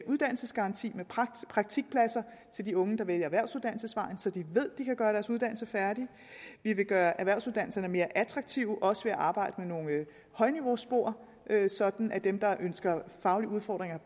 uddannelsesgaranti med praktikpladser til de unge der vælger erhvervsuddannelsesvejen så de ved at de kan gøre deres uddannelse færdig vi vil gøre erhvervsuddannelserne mere attraktive også ved at arbejde med nogle højniveauspor sådan at dem der ønsker faglige udfordringer